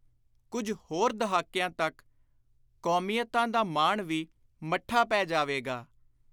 ਕੁਝ ਹੋਰ ਦਹਾਕਿਆਂ ਤਕ ਕੌਮੀਅਤਾਂ ਦਾ ਮਾਣ ਵੀ ਮੱਠਾ ਪੈ ਜਾਵੇਗਾ।